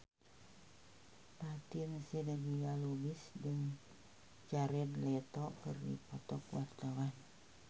Fatin Shidqia Lubis jeung Jared Leto keur dipoto ku wartawan